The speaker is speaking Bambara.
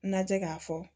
Lajɛ k'a fɔ